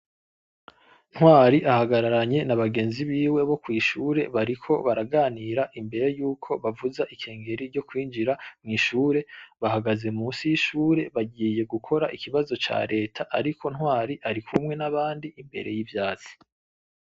Ntwari ahagararanye n‘ abagenzi biwe bo kw‘ ishure bariko baraganira imbere yuko bavuza inkengeri yo kwinjira mw‘ ishure, bahagaze musi y‘ ishure bagiye gukora ikibazo ca Leta , ariko Ntwari arikumwe n‘ abandi imbere y‘ ivyatsi.